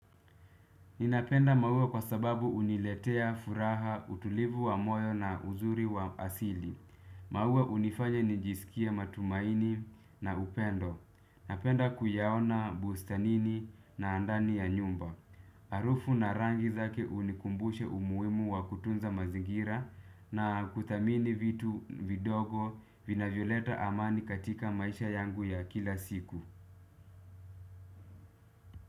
Ninapenda maua kwa sababu uniletea furaha utulivu wa moyo na uzuri wa asili. Maua unifanya nijisikie matumaini na upendo. Napenda kuyaona bustanini na ndani ya nyumba. Arufu na rangi zake unikumbusha umuimu wa kutunza mazingira na kuthamini vitu vidogo vinavyoleta amani katika maisha yangu ya kila siku.